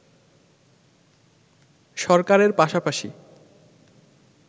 সরকারের পাশাপাশি